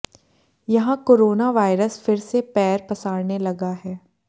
यहां corona virus फिर से पैर पसारने लगा है